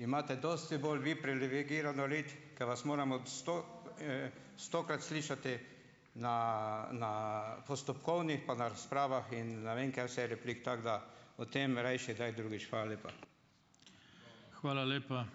imate dosti bolj vi privilegirano rit, ke vas moramo stokrat slišati na, na postopkovnih pa na razpravah in ne vem kaj vse replik, tako da o tem rajši drugič. Hvala lepa.